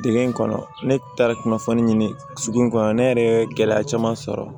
Dege in kɔnɔ ne taara kunnafoni ɲini sugu in kɔnɔ ne yɛrɛ ye gɛlɛya caman sɔrɔ